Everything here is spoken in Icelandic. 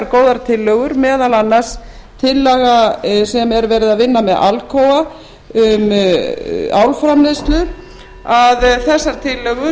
góðar tillögur meðal annars tillaga sem er verið að vinna með alcoa um álframleiðslu þessar tillögur